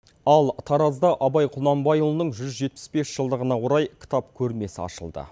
ал таразда абай құнанбайұлының жүз жетпіс бес жылдығына орай кітап көрмесі ашылды